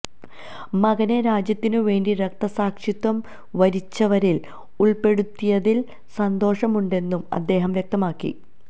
മകനെ രാജ്യത്തിനു വേണ്ടി രക്തസാക്ഷിത്വം വരിച്ചവരില് ഉള്പ്പെടുത്തിയതില് സന്തോഷമുണ്ടെന്നും അദ്ദേഹം വ്യക്തമാക്കി